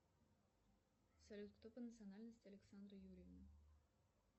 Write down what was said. салют кто по национальности александра юрьевна